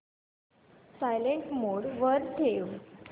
silent mode वर ठेव